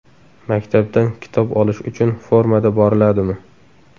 Maktabdan kitob olish uchun formada boriladimi?